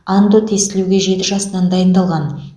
андо тестілеуге жеті жасынан дайындалған